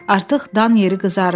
Artıq dan yeri qızarırdı.